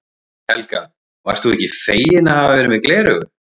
Helga: Og ert þú ekki feginn að hafa verið með gleraugu?